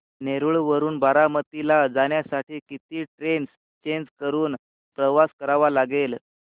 नेरळ वरून बारामती ला जाण्यासाठी किती ट्रेन्स चेंज करून प्रवास करावा लागेल